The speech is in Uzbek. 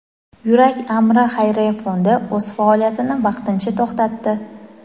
"Yurak amri" xayriya fondi o‘z faoliyatini vaqtincha to‘xtatdi.